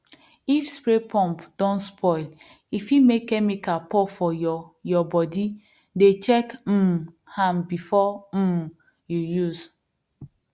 if spray pump don spoil e fit make chemical pour for your your bodydey check um am before um you use